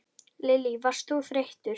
Lillý: Varst þú þreyttur?